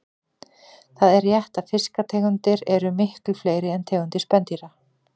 Það er rétt að fiskategundir eru miklu fleiri en tegundir spendýra.